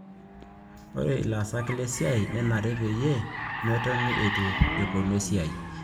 Ore ilaasak le siai nenare peyie metoni itu eponu esiai